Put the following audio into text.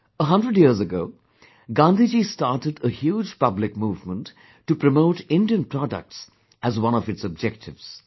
A hundred years ago, Gandhiji started a huge public movement to promote Indian products as one of its objectives